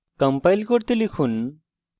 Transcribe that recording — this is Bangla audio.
compile করতে লিখুন